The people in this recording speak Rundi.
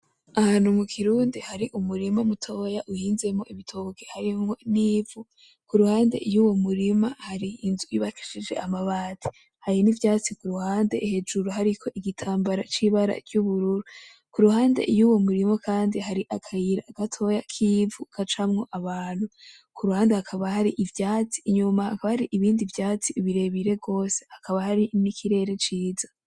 Ahantu mu kirundi hari umurima mutoya uhinzemo ibitoki harimwo n'ivu, ku ruhande y'uwo murima hari inzu yubakishije amabati, hari n'ivyatsi ku ruhande hejuru hariko igitambara c'ibara ry'ubururu, ku ruhande y'uwo murima kandi hari akayira gatoya k'ivu gacamwo abantu, ku ruhande hakaba hari ivyatsi, inyuma hakaba hari ibindi vyatsi birebire gose, hakaba hari n'ikirere ciza.